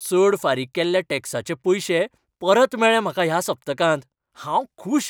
चड फारीक केल्ल्या टॅक्साचे पयशे परत मेळ्ळे म्हाका ह्या सप्तकांत, हांव खूश!